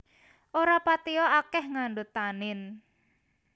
Ora patia akèh ngandhut tanin